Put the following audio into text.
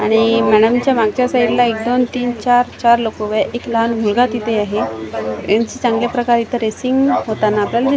आणि मॅडम च्या मागच्या साईड ला एक दोन तीन चार चार लोक आहे एक लहान मुलगा तिथे आहे यांची चांगल्या प्रकारे इथ रेसिंग होताना आपल्याला--